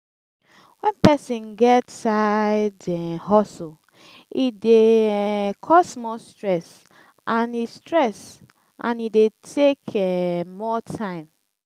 when persin get side um hustle e de um cause more stress and e stress and e de take um more time